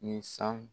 Ni san